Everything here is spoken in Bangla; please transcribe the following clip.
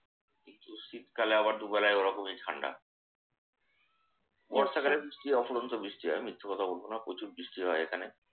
কিন্তু শীতকালে আবার দুবেলাই ওরকমই ঠান্ডা। বর্ষাকালে বৃষ্টি হয় অফুরন্ত বৃষ্টি হয় এখানে। মিথ্যে কথা বলবো না। প্রচুর বৃষ্টি হয় এখানে।